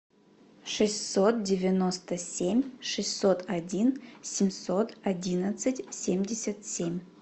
шестьсот девяносто семь шестьсот один семьсот одиннадцать семьдесят семь